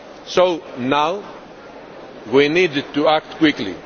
So now we need to act quickly.